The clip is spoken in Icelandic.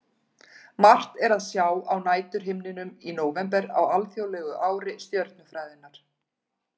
Margt er að sjá á næturhimninum í nóvember á alþjóðlegu ári stjörnufræðinnar.